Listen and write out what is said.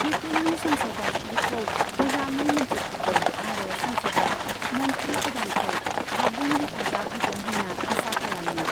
इउक्रेननि संसदआ बिखौ मोजाङै मोन्थिखागौ आरो संसदआ मन्थ्रि गोदानखौ आबुं हेफाजाब होगोन होन्ना आसा खालामो।